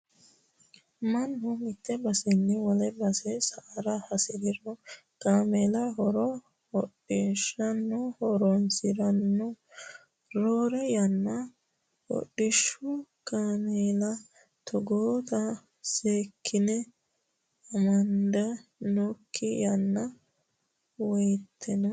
Mannu mite baseni wole base sa"ara hasiriro kaameella konr hodhishshaho horonsirano roore yanna hodhishshu kaameella togootta seekkine amada noonke ayee woyteno.